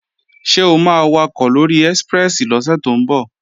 Ṣé o máa wakọ̀ lóri ẹ́síprẹ́sì lọ́sẹ̀ tó ń bọ̀?